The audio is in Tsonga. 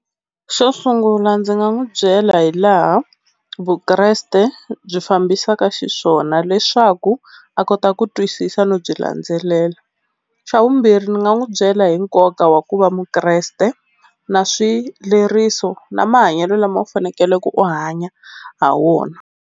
Xo sungula ndzi nga n'wi byela hi laha Vukreste byi fambisaka xiswona leswaku a kota ku twisisa no byi landzelela. Xa vumbirhi ndzi nga n'wi byela hi nkoka wa ku va Mukreste na swileriso na mahanyelo lama u fanekele ku u hanya ha wona.